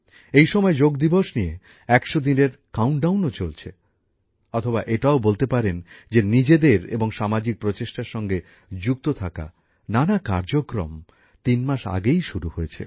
এই সময়ে যোগ দিবস নিয়ে ১০০ দিনের কাউন্টডাউনও চলছে অথবা এটাও বলতে পারেন যে নিজেদের এবং সামাজিক প্রচেষ্টার সঙ্গে যুক্ত থাকা নানা কার্যক্রম তিন মাস আগেই শুরু হয়েছে